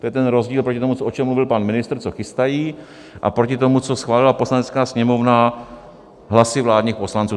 To je ten rozdíl oproti tomu, o čem mluvil pan ministr, co chystají, a proti tomu, co schválila Poslanecká sněmovna hlasy vládních poslanců.